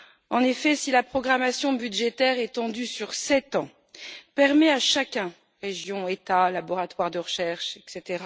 En effet, si la programmation budgétaire étendue sur sept ans permet à chacun, région, État, laboratoire de recherche, etc.,